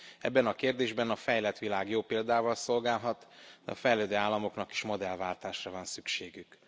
Ebben a kérdésben a fejlett világ jó példával szolgálhat, de a fejlődő államoknak is modellváltásra van szükségük.